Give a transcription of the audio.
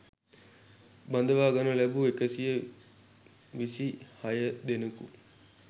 බඳවා ගනු ලැබූ එකසිය විසිහය දෙනෙකු